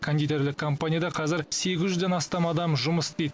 кондитерлік компанияда қазір сегіз жүзден астам адам жұмыс істейді